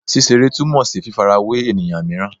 Ṣiṣere tumọ si fifarawe eniyan miiran